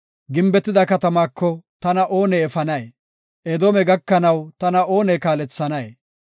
Gimbetida katamaako tana oone efanay? Edoome gakanaw tana oone kaalethanay?